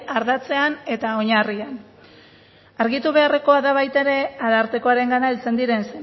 ardatzean eta oinarrian argitu beharrekoa da baita ere arartekoarengana heltzen diren